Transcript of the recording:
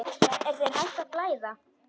Er þér hætt að blæða?